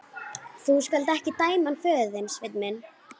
Þú skalt ekki dæma hann föður þinn, Sveinn minn.